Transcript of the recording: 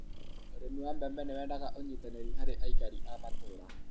ūrīmi wa mbembe nīwendaga ūnyitanīrī harī aikari a matūra